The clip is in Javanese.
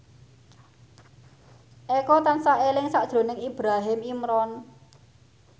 Eko tansah eling sakjroning Ibrahim Imran